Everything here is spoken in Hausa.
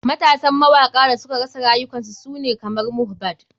Matasan mawaka da suka rasa rayukan su sune kamar mohbad.